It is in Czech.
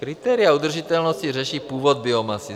Kritéria udržitelnosti řeší původ biomasy.